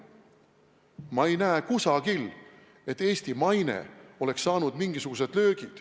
Ma ei näe kusagil, et Eesti maine oleks saanud mingisugused löögid.